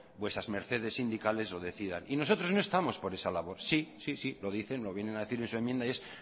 vuestras mercedes sindicales lo decidan y nosotros no estamos por esa labor sí sí lo dicen lo vienen a decir en su enmienda y es